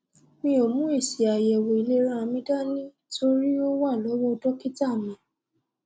mi ò mú èsìàyẹwòìlera mi dání torí ó wà lọwọ dọkítà mi